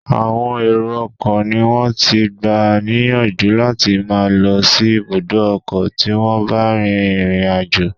Àwọn èrọ ọkọ̀ ni wón ti gbà níyànjú láti máa lọ sí ibùdó ọkọ tí wón bá rin ìrìn àjò.